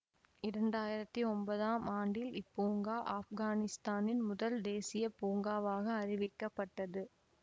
இரண்டு ஆயிரத்தி ஒன்பதாம் ஆண்டில் இப்பூங்கா ஆப்கானிஸ்தானின் முதல் தேசியப்பூங்காவாக அறிவிக்கப்பட்டது